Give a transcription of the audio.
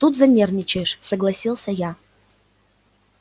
тут занервничаешь согласился я